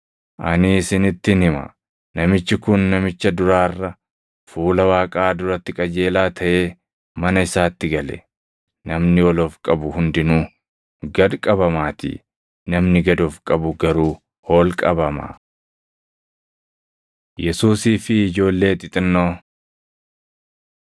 “Ani isinittin hima; namichi kun namicha duraa irra fuula Waaqaa duratti qajeelaa taʼee mana isaatti gale. Namni ol of qabu hundinuu gad qabamaatii; namni gad of qabu garuu ol qabama.” Yesuusii fi Ijoollee Xixinnoo 18:15‑17 kwf – Mat 19:13‑15; Mar 10:13‑16